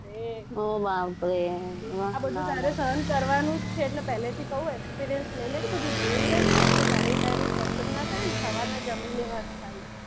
બસ રે ઓહ બાપ રે આ બધુ તારે સહન કરવાનું જ છે એટલે પહેલેથી કહું experience લઇ લે બધુ જોઈ લે એટલે તારે એ time મે problem ના થાય ને સવારના જમી લેવાનું તારે,